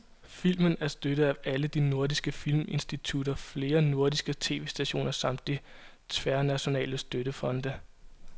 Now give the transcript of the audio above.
Filmen er støttet af alle de nordiske filminstitutter, flere nordiske tv-stationer samt de tværnationale støttefonde.